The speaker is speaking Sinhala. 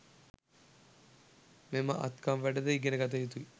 මෙම අත්කම් වැඩ ද ඉගෙන ගත යුතුයි